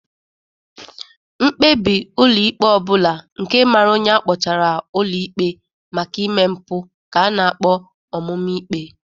Mkpebi ụlọ ikpe ọbụla nke mara onye akpọtara ụlọ ikpe maka ime mpụ ka a na-akpọ ọmụmaikpe.